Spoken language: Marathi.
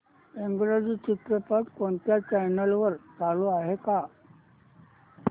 इंग्रजी चित्रपट कोणत्या चॅनल वर चालू आहे का